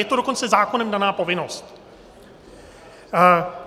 Je to dokonce zákonem daná povinnost.